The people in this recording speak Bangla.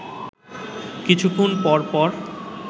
কিছুক্ষণ পরপর